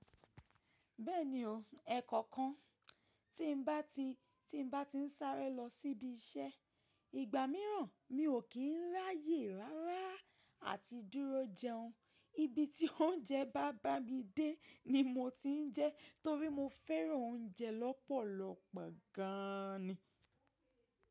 Bẹ́ẹ̀ni o, ẹ̀kọ̀kan tí n bá ti ń sáré lọ síbi iṣẹ́, ìgbà mìíràn mi ò kí ń ráyè rárá à ti dúró jẹun. Ibi tí oúnjẹ bá bá mi dé ni mo ti ń jẹ́ torí mo fẹ́ràn oúnjẹ lọ́pọ̀lọpọ̀ gan ni.